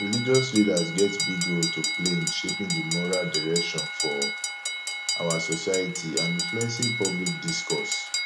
religious leaders get big role to play in shaping di moral direction for our society and influencing public discourse